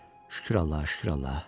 Şükür Allaha, şükür Allaha.